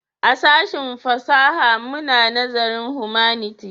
A sashen fasaha muna nazarin Humanity